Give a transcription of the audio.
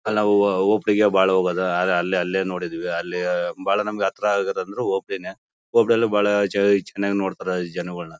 ಅಲ ಓ.ಪಿ ಗೆ ಬಾಳ ಹೋಗೋದು ಆದರೆ ಅಲೆ ಅಲ್ಲೇ ನೋಡಿದ್ದೀವಿ ಅಲ್ಲಿ ಬಾಳ ನಮಗೆ ಹತ್ರ ಆಗುತ್ತೆ ಅಂದ್ರು ಓ.ಪಿ ನೇ ಓ.ಪಿ ನಲ್ಲೂ ಬಾಳ ಚೆ ಚೆನ್ನಾಗಿ ನೋಡ್ತಾರೆ ಜನಗಳೊನ್ನ .